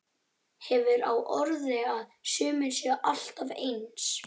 Hefur á orði að sumir séu alltaf eins.